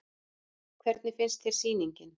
Hvernig finnst þér sýningin?